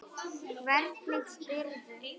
Hvernig spyrðu?